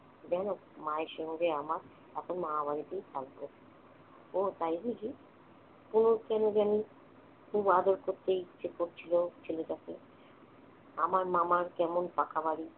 জান, মায়ের সঙ্গে আমার, এখন মা আমাকেই ভালোবাসে। ওহ্ তাই বুঝি? তনুর কেন জানি খুব আদর করতেই ইচ্ছে করছিল ছেলেটাকে। আমার মামার কেমন পাকা বাড়ি,